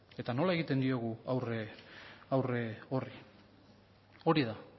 eta nola egiten diogu aurre horri hori da